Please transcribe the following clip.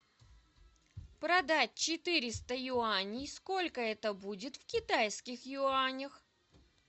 продать четыреста юаней сколько это будет в китайских юанях